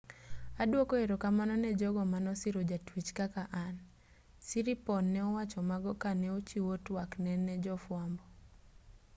aduoko erokamano ne jogo manosiro jatuech kaka an siriporn ne owacho mago ka ne ochiwo twak ne jofuambo